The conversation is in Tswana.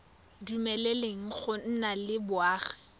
dumeleleng go nna le boagi